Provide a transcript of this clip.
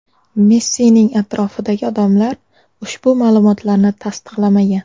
Messining atrofidagi odamlar ushbu ma’lumotlarni tasdiqlamagan.